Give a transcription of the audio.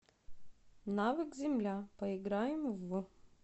навык земля поиграем в